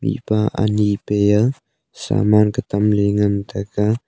mihpa ani peya saman ka tamley ngan taiga.